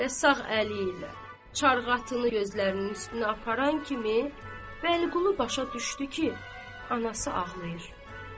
Və sağ əli ilə çarğatını gözlərinin üstünə aparan kimi Vəliqulu başa düşdü ki, anası ağlayır.